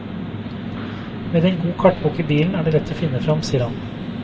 Med en god kartbok i bilen er det lett å finne frem, sier han.